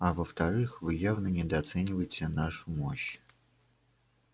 а во вторых вы явно недооцениваете нашу мощь